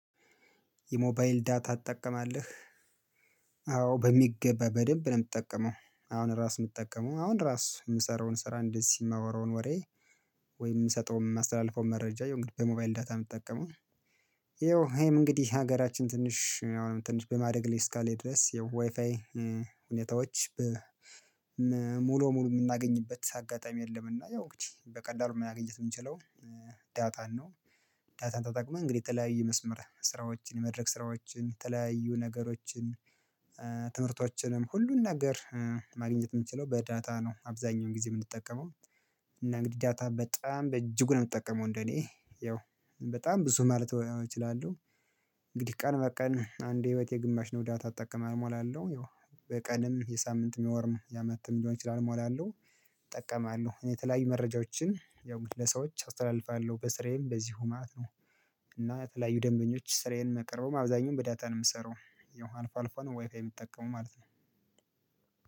የሞባይል ዳታ ትጠቀማለህ? አዎ በሚገባ በደንብ ነው የምጠቀመው። አሁን ራስ የምትጠቀመው አሁን ራሱ የምሰራውን ስራ እንደዚህ የማወራውን ወሬ ወይም የምሰጠውን የማስተላልፈውን መረጃ የሆንኩት በሞባይል ዳታ የምትጠቀመው። ይኸው ይሄም እንግዲህ ሀገራችን ትንሽ አሁንም ትንሽ በማደግ ላይ እስካለ ድረስ የዋይፋይ ሁኔታዎች ሙሉ በሙሉ የምናገኝበት አጋጣሚ የለምና ያው እንግዲ በቀላሉ ማግኘት የምንችለው ዳታን ነው። ዳታን ተጠቅመን እንግዲህ የተለያየ የመስመር ስራዎችን የመድረክ ስራዎችን የተለያየ ነገሮችን ትምህርቶችንን ሁሉን ነገር ማግኘት የምንችለው በዳታ ነው። አብዛኛውን ጊዜ የምንጠቀመው እና እንግዲህ ዳታ በጣም በእጅጉ ነው የምጠቀመው እንደኔ ያው በጣም ብዙ ማለት እችላለሁ። እንግዲህ ቀን በቀን አንድ የህይወቴ ግማሽ ነው ዳታ እትጠቀም እሞላለሁ ይኸው የቀንም የሳምንትም የወርም የአመትም ሊሆን ይችላል እሞላለሁ። እጠቀማለሁ እኔ የተለያዩ መረጃዎችን ያው ለሰዎች አስተላልፋለሁ በስራዬም በዚሁ ማለት ነው። እና የተለያዩ ደንበኞች ስራዬን ማቀርበውም አብዛኛውን በዳታ ነው የምሰራው ያው አልፎ አልፎ ነው ዋይፋይ የምትጠቀመው ማለት ነው።